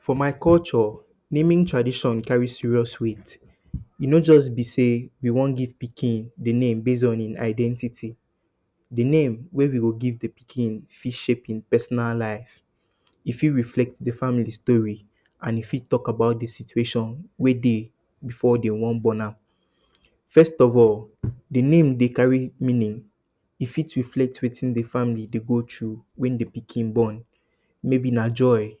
For my culture, naming tradition carry serious weight. E no just bi say we wan give pikin name base on his identity. Di name wey we go give di pikin fit shape im personal life. E fit reflect di family story and e fit talk about di situation wey dey before de wan born am. First of all, di name dey carry meaning, e fit reflect wetin di family dey go through before wey di born, maybe na joy,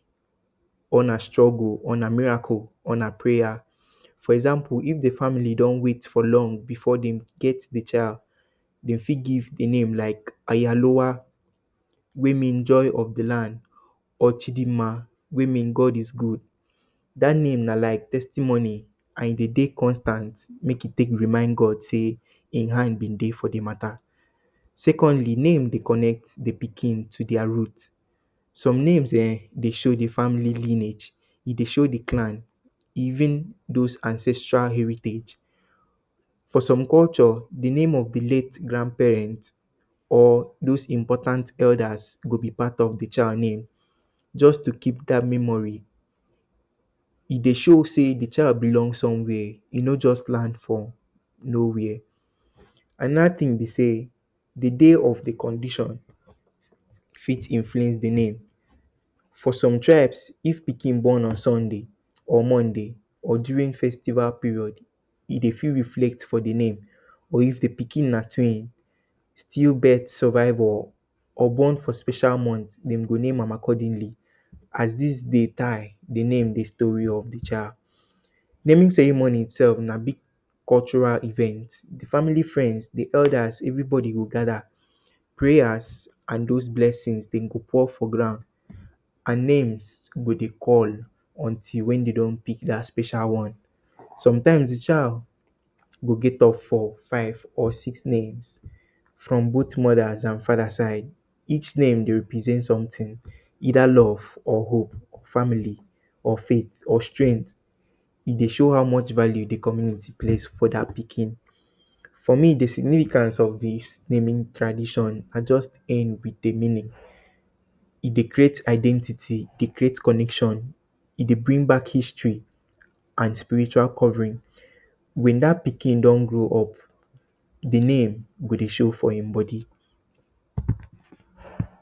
or na struggle or na miracle or na prayer. For example, if di family don wait for long before de get di child, dem fit give di name lak Ayaruwa wey mean joy of di land or Chidinma wey mean God is good. Dat name na lak testimony and e dey constant, mek e tek remind God say im hand bi dey for di mata. Secondly, name dey connect di pikin to dia roots, some names ehn, dey show di family lineage, dey show di clan, even those ancestral heritage. For some culture, di name of di late grandparents or those important elders go bi part of di child name, just to keep dat memory. E dey show say di child belong somewhere. E no just land from no where. Anoda tin bi say di day of di condition fit reflect di name. for some tribes, if pikin born on Sunday or Monday or during festival period, e dey fit reflect for di name, or if di pikin na twin. Still birth survivor, or born for special month, dem go name am accordingly. As dis bi di name di story of di child. Naming ceremony itself na big cultural event, family, friends, di elders, everybody go gather, pray as and those blessing dem go pour for ground and names go dey call until wen de don pick dat special one. Sometimes, di child go get up to five or six names, from both mother’s and father’s side. Each name represent sometin, either love or hope or family, or faith, or strength, e dey show how much value di community place for dia pikin. For me, di significant of dis naming tradition na just e dey create identity, e create connection, e dey bring back history and spiritual covering. Wen dat pikin don grow up, di name go dey show for im body.